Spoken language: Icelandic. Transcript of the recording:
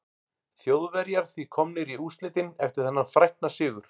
Þjóðverjar því komnir í úrslitin eftir þennan frækna sigur.